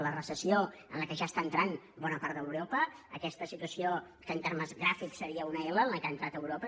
la recessió en què ja està entrant bona part d’europa aquesta situa· ció que en termes gràfics seria una ela en què ha en·trat europa